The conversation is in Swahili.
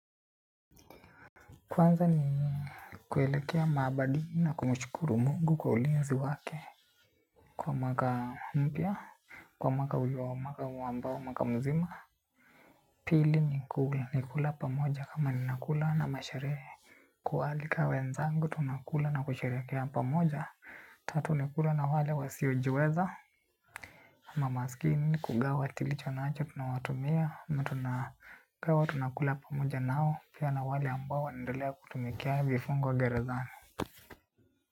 Kwanza ni kuelekea maabadini na kumshukuru mungu kwa ulinzi wake. Kwa mwaka mpya, kwa mwaka ujao mwaka huo ambao, mwaka mzima. Pili ni kula, ni kula pamoja kama ni nakula na masherehe. Kualika wenzangu tunakula na kusherekea pamoja. Tatu ni kula na wale wasiojiweza. Ama masikini ni kugawa, tulicho na acho, tunawatumia ama tunagawa tunakula pamoja nao. Pia na wale ambao wanaendelea kutumikia vifungo gerezani.